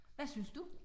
Hvad synes du?